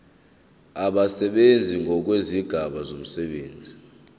abasebenzi ngokwezigaba zomsebenzi